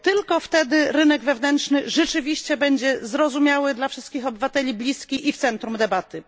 Bo tylko wtedy rynek wewnętrzny rzeczywiście będzie zrozumiały dla wszystkich obywateli i im bliski oraz znajdzie się w centrum debaty.